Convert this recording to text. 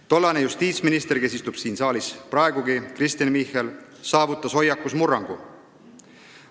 Tollane justiitsminister – praegu istub ta siin saalis – Kristen Michal saavutas hoiakus murrangu.